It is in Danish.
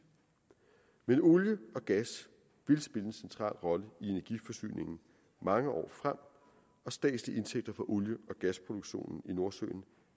men olie og gas vil spille en central rolle i energiforsyningen mange år frem og statslige indtægter fra olie og gasproduktionen i nordsøen